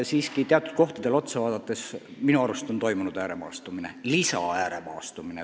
Samas teatud kohtades on minu arust toimunud täiendav ääremaastumine.